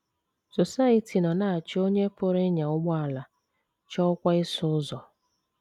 Society nọ na - achọ onye pụrụ ịnya ụgbọala, chọọkwa ịsụ ụzọ.